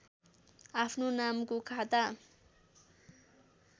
आफ्नो नामको खाता